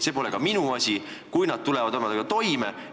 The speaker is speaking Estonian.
See pole ka minu asi, kui nad tulevad omadega toime.